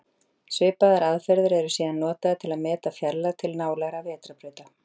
Svipaðar aðferðir eru síðan notaðar til að meta fjarlægð til nálægra vetrarbrauta.